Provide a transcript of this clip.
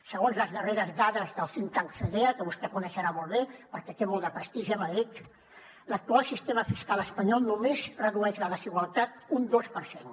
segons les darreres dades del think tank fedea que vostè coneixerà molt bé perquè té molt de prestigi a madrid l’actual sistema fiscal espanyol només redueix la desigualtat un dos per cent